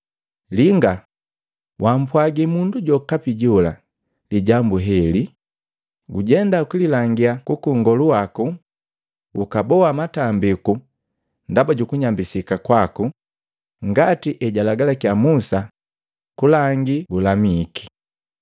“Linga, wampwagi mundu jokapi jola lijambu leheli, gujenda ukililangia kwaka Nngolu waku ukaboa matambiku ndaba jukunyambisika kwaku ngati ejalagalakiya Musa kulangi gulamike.”